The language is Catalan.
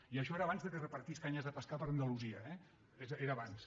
i això era abans que repartís canyes de pescar per andalusia eh era abans